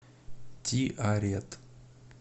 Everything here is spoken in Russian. тиарет